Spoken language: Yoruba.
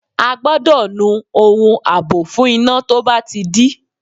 A gbọ́dọ̀ nu ohun àbò fún iná tó bá ti dí.